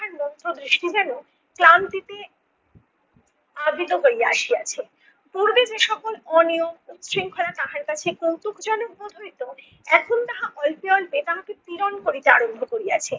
মুগ্ধ দৃষ্টি যেনো ক্লান্তিতে অদিত হইয়া আসিয়াছে। পূর্বে যে সকল অনিয়ম, উশৃংখলা তাহার কাছে কৌতুকজনক বোধ হইতো এখন তাহা অল্পে অল্পে তাহাকে পীড়ন করিতে আরম্ভ করিয়াছে।